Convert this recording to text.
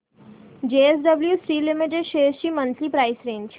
JSW steel limited shares ची monthly price range